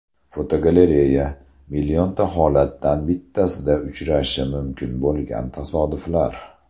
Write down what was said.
Fotogalereya: Millionta holatdan bittasida uchrashi mumkin bo‘lgan tasodiflar.